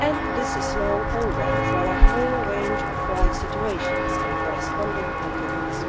This is now over for a whole range of life situations and corresponding documents.